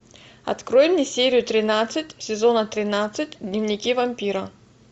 открой мне серию тринадцать сезона тринадцать дневники вампира